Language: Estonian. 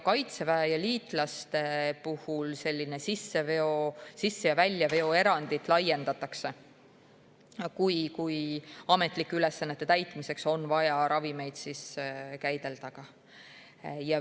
Sisse‑ ja väljaveo erandit laiendatakse ka Kaitseväe ja liitlaste puhul, kui ametlike ülesannete täitmiseks on vaja ravimeid käidelda.